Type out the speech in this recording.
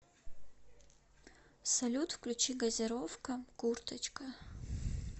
салют включи газировка курточка